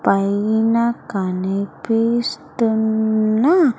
పైన కనిపిస్తున్న--